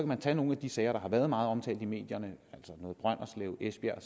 man tage nogle af de sager der har været meget omtalt i medierne altså brønderslev og esbjerg